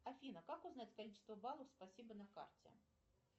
афина как узнать количество баллов спасибо на карте